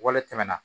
Wale tɛmɛna